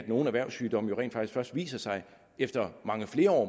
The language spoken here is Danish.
nogle erhvervssygdomme rent faktisk viser sig efter mange flere år